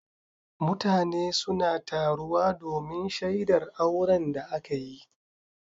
Mutane suna taruwa domin shaidar auren da aka yi.